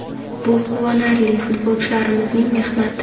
Bu quvonarli, futbolchilarimizning mehnati.